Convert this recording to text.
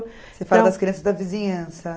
Você fala das crianças da vizinhança.